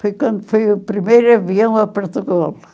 Foi quando foi o primeiro avião a Portugal.